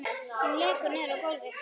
Hún lekur niður á gólfið.